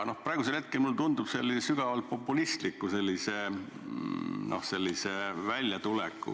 Praegu mulle tundub selline väljatulek aga sügavalt populistlik.